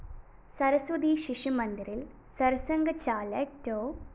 സരസ്വതി ശിശുമന്ദിറില്‍ സര്‍സംഘചാലക് ഡോ